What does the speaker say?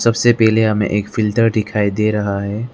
उससे पहले हमें एक फ़िल्टर दिखाई दे रहा है।